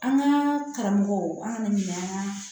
An ka karamɔgɔw an kana ɲinɛ an kan